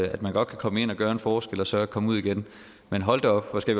at man godt kan komme ind og gøre en forskel og så komme ud igen men hold da op hvor skal